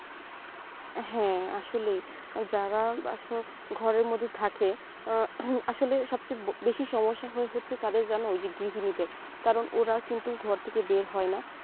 হ্যাঁ আসলেই যারা ঘরের মধ্যে থাকে আহ আসলে সবচেয়ে বেশি সমস্যা হয় হচ্ছে কাদের জানো ওই গৃহিণীদের কারণ ওরা কিন্তু ঘর থেকে বের হয়না